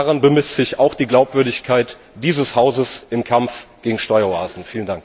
Daran bemisst sich auch die Glaubwürdigkeit dieses Hauses im Kampf gegen Steueroasen.